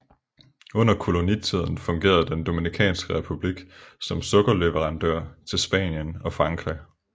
Under kolonitiden fungerede den Dominikanske Republik som sukkerleverandør til Spanien og Frankrig